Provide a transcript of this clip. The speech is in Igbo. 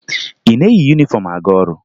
Ị na-eyi yunifọmụ aga ọrụ?